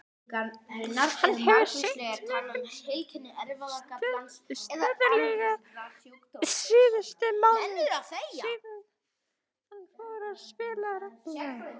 Hann hefur sýnt mikinn stöðugleika síðustu mánuði síðan hann fór að spila reglulega.